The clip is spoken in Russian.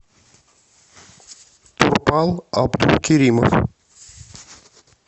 турпал абдулкеримов